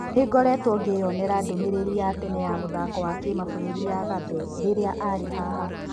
Nĩ-ngoretwo ngĩyonera ndũmĩrĩri ya tene ya mũthako wa kĩmabũrũri ya Gabe rĩrĩa arĩ-haha."